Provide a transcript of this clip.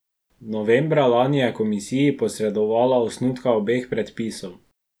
Novembra lani je komisiji posredovala osnutka obeh predpisov.